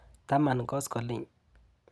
Taman koskoliny.